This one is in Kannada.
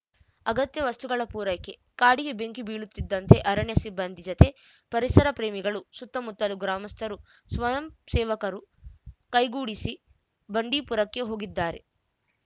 ಅಗತ್ಯ ವಸ್ತುಗಳ ಪೂರೈಕೆ ಕಾಡಿಗೆ ಬೆಂಕಿ ಬೀಳುತ್ತಿದಂತೆ ಅರಣ್ಯ ಸಿಬ್ಬಂದಿ ಜತೆ ಪರಿಸರ ಪ್ರೇಮಿಗಳು ಸುತ್ತಮುತ್ತಲ ಗ್ರಾಮಸ್ಥರು ಸ್ವಯಂ ಸೇವಕರು ಕೈಗೂಡಿಸಿ ಬಂಡೀಪುರಕ್ಕೆ ಹೋಗಿದ್ದಾರೆ